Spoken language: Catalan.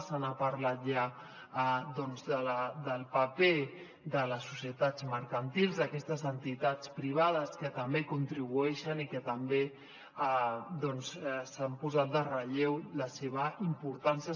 se n’ha parlat ja doncs del paper de les societats mercantils d’aquestes entitats privades que també contribueixen i també doncs s’ha posat en relleu la seva importància